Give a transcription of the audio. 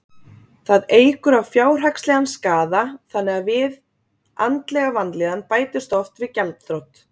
Það eykur á fjárhagslegan skaða þannig að við andlega vanlíðan bætist oft við gjaldþrot.